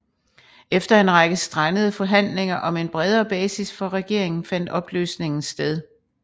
Efter en række strandede forhandlinger om en bredere basis for regeringen fandt opløsningen sted